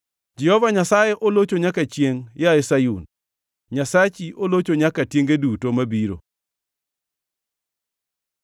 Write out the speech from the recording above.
Jehova Nyasaye olocho nyaka chiengʼ yaye Sayun, Nyasachi olocho nyaka tienge duto mabiro. Pakuru Jehova Nyasaye!